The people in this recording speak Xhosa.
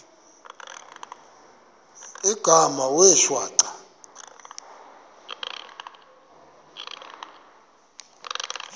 igama wee shwaca